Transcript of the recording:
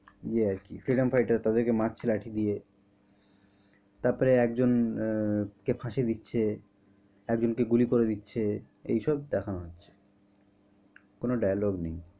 ইয়ে আরকি freedom fighter তাদের কে মারছে লাঠি দিয়ে তারপরে আহ একজনকে ফাঁসি দিচ্ছে একজন কে গুলি করে দিচ্ছে এইসব দেখানো হচ্ছে কোনো dialogue নেই।